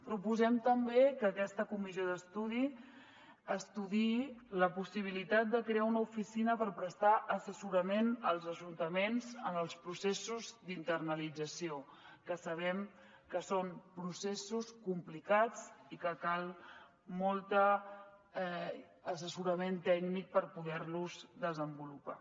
proposem també que aquesta comissió d’estudi estudiï la possibilitat de crear una oficina per prestar assessorament als ajuntaments en els processos d’internalització que sabem que són processos complicats i que cal molt assessorament tècnic per poder los desenvolupar